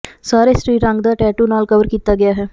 ਸਾਰੇ ਸਰੀਰ ਰੰਗਦਾਰ ਟੈਟੂ ਨਾਲ ਕਵਰ ਕੀਤਾ ਗਿਆ ਹੈ